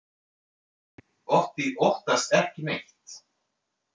Otti óttast ekki neitt!